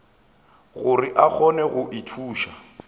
gore a kgone go ithuša